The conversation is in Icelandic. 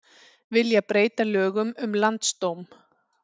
Vilja breyta lögum um landsdóm